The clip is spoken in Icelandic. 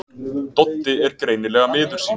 Doddi er greinilega miður sín.